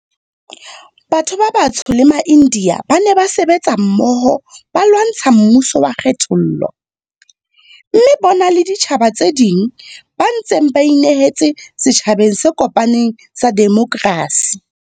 Batho ba batsho le maIndiya ba ne ba sebetsa mmoho ba lwantsha mmuso wa kgethollo, mme bona le ditjhaba tse ding ba ntse ba inehetse setjhabeng se kopaneng sa demokrasi.